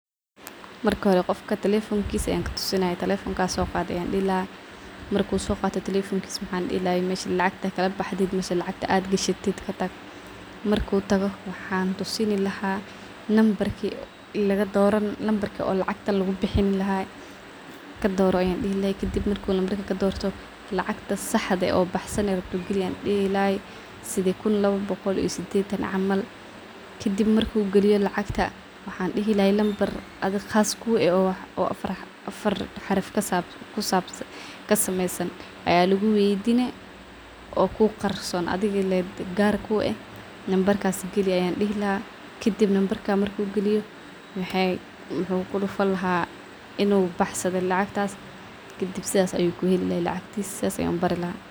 Marka hore qofka telefonkisa yaan katusinayaa, telefonkaga soqad ayaan dihii , ,marka soqatid mesha lacagta ad gashatid katag marku tago waxan tusin lahaa nambarki lacagta lugubixin lahaa doro an dihi lahaa sidhi kun lawa boqol iyo sidetan. Kadib waxaan dihi lahaa doro nambarka qas kuah lacagta lugubixin lahaa oo kuqarson adiga le gar kueh, nambargas gali ayaan dihi lahaa kadib nambarka marku galiyo muxu kudufan lahaa in uu baxsadhe lacagta , kadib sidas ayuu kuheli lahaa lacagtis, sidas ayaan ubari laha.